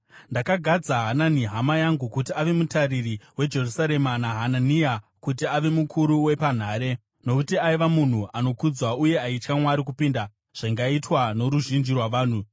Ndakagadza Hanani hama yangu kuti ave mutariri weJerusarema naHanania kuti ave mukuru wepanhare, nokuti aiva munhu anokudzwa uye aitya Mwari kupinda zvingaitwa noruzhinji rwavanhu.